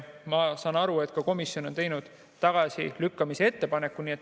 Ma saan aru, et komisjon ongi teinud tagasilükkamise ettepaneku.